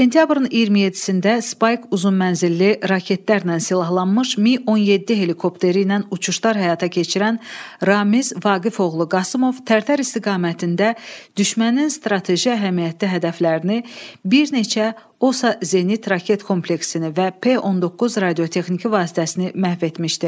Sentyabrın 27-də Spayk uzunmənzilli raketlərlə silahlanmış Mİ-17 helikopteri ilə uçuşlar həyata keçirən Ramiz Vaqif oğlu Qasımov Tərtər istiqamətində düşmənin strateji əhəmiyyətli hədəflərini bir neçə OSA Zenit raket kompleksini və P-19 radiotexniki vasitəsini məhv etmişdi.